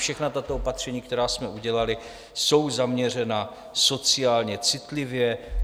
Všechna tato opatření, která jsme udělali, jsou zaměřena sociálně citlivě.